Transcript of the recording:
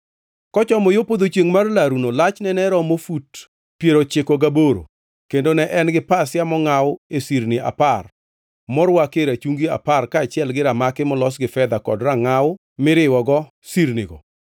Kochomo yo podho chiengʼ mar laruno lachne ne romo fut piero ochiko gaboro kendo ne en gi pasia mongʼaw e sirni apar morwakie rachungi apar kaachiel gi ramaki molos gi fedha kod rangʼaw miriwogo sirnigo.